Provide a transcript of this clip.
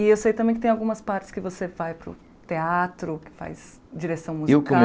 E eu sei também que tem algumas partes que você vai para o teatro, que faz direção musical. Eu